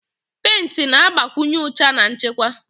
Pentị na-agbakwụnye ụcha na nchekwa.